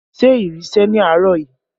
Ṣé ìrì sẹ̀ ní àárọ̀ yìí?